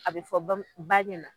A bɛ fɔ bamu ba ɲɛ na